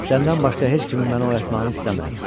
Səndən başqa heç kimin məni oyatmağını istəmirəm.